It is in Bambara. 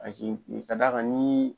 ka da kan ni